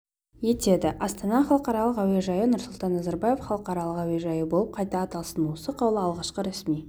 етеді астана халықаралық әуежайы нұрсұлтан назарбаев халықаралық әуежайы болып қайта аталсын осы қаулы алғашқы ресми